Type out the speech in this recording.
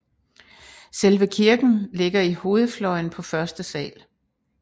Selve kirken ligger i hovedfløjen på første sal